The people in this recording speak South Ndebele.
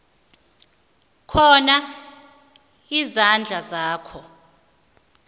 khona izandla zakho